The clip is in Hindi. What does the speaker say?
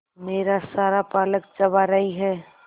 मेरा सारा पालक चबा रही है